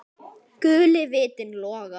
Guli vitinn logar.